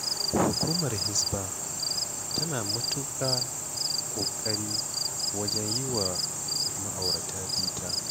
Hukumar Hisba tana matuƙa ƙoƙari wajen yi wa ma'aurata bita.